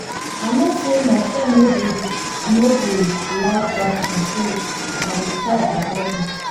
i no say my friend no dey no dey like dat thing so i dey try avoid am